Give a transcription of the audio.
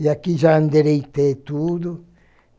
E aqui já endereitei tudo.